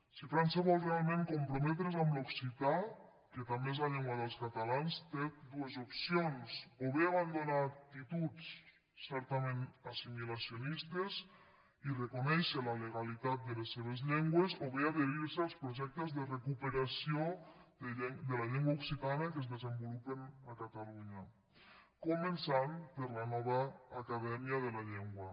si frança vol realment comprometre’s amb l’occità que també és la llengua dels catalans té dues opcions o bé abandonar actituds certament assimilacionistes i reconèixer la legalitat de les seves llengües o bé adherir se als projectes de recuperació de la llengua occitana que es desenvolupen a catalunya començant per la nova acadèmia de la llengua